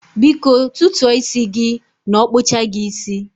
Biko tutuo isi gi n okpucha gi isi